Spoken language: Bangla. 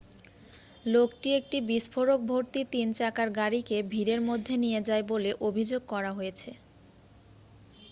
লোকটি একটি বিস্ফোরকভর্তি তিন চাকার গাড়িকে ভিড়ের মধ্যে নিয়ে যায় বলে অভিযোগ করা হয়েছে